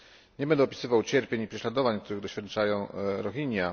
Nie będę opisywał cierpień i prześladowań, których doświadczają Rohingya.